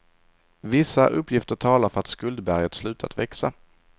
Vissa uppgifter talar för att skuldberget slutat växa.